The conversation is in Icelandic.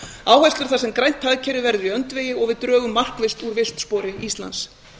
áherslur þar sem grænt hagkerfi verður í öndvegi og við drögum markvisst úr víxlspori íslands